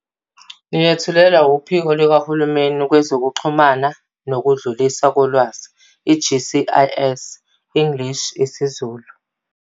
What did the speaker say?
Niyethulelwa WuPhiko likaHulumeni Kwezokuxhumana Nokudluliswa Kolwazi, i-GCIS, English, isiZulu.